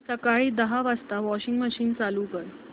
सकाळी दहा वाजता वॉशिंग मशीन चालू कर